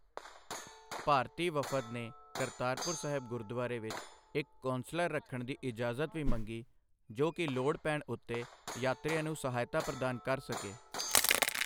ਭਾਰਤੀ ਵਫ਼ਦ ਨੇ ਕਰਤਾਰਪੁਰ ਸਾਹਿਬ ਗੁਰਦੁਆਰੇ ਵਿੱਚ ਇੱਕ ਕੌਂਸਲਰ ਰੱਖਣ ਦੀ ਇਜਾਜ਼ਤ ਵੀ ਮੰਗੀ ਜੋ ਕਿ ਲੋੜ ਪੈਣ ਉੱਤੇ ਯਾਤਰੀਆਂ ਨੂੰ ਸਹਾਇਤਾ ਪ੍ਰਦਾਨ ਕਰ ਸਕੇ।